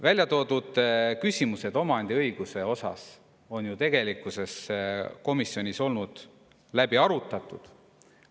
Välja toodud küsimused omandiõiguse kohta on ju tegelikkuses komisjonis läbi arutatud.